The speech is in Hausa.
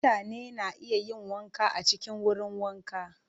Mutane na iya yin wanka a cikin wurin wanka.